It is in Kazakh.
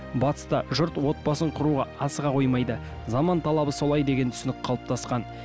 батыста жұрт отбасын құруға асыға қоймайды заман талабы солай деген түсінік қалыптасқан